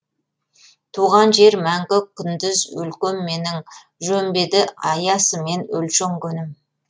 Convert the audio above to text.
туған жер мәңгі күндіз өлкем менің жөн бе еді аясымен өлшенгенім